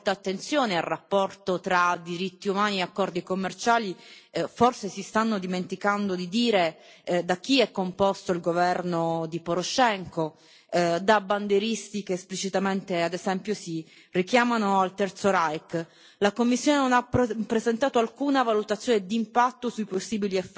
La Commissione, il Commissario europeo, che pure dicono di fare molta attenzione al rapporto tra diritti umani e accordi commerciali, forse si stanno dimenticando di dire da chi è composto il governo di Poroshenko, da bandieristi che esplicitamente, ad esempio, si richiamano al terzo Reich.